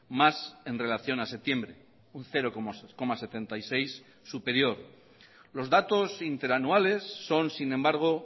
más en relación a septiembre un cero coma setenta y seis por ciento superior los datos interanuales son sin embargo